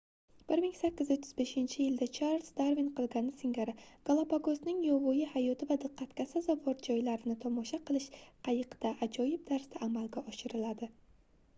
1835-yilda charliz darvin qilgani singari galapagosning yovvoyi hayoti va diqqatga sazovor joylarini tomosha qilish qayiqda ajoyib tarzda amalga oshiriladi